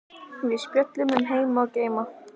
Við spjölluðum um heima og geima.